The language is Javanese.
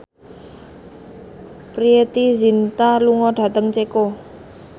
Preity Zinta lunga dhateng Ceko